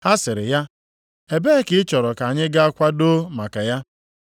Ha sịrị ya, “Ebee ka ị chọrọ ka anyị gaa kwadoo maka ya?”